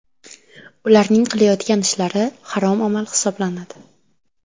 Ularning qilayotgan ishlari harom amal hisoblanadi.